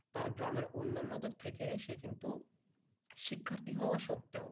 তার গ্রামে অনন্যাদের থেকে সে কিন্তু শিক্ষার্থী হওয়া সত্ত্বেও